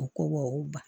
U ko ba